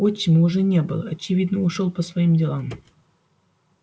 отчима уже не было очевидно ушёл по своим делам